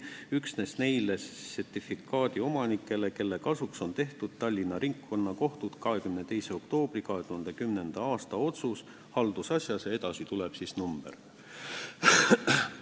üksnes neile sertifikaadiomanikele, kelle kasuks on tehtud Tallinna Ringkonnakohtu 22. oktoobri 2010. a otsus haldusasjas" ja edasi tuleb otsuse number.